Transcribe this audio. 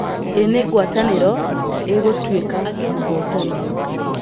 Ĩ nĩ ngwatanĩro ĩgũtwĩka mũhotani.